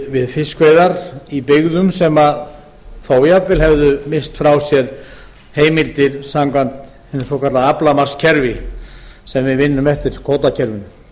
við fiskveiðar í byggðum sem þó jafnvel hefðu misst frá sér heimildir samkvæmt hinu svokallaða aflamarkskerfi sem við vinnum eftir kvótakerfinu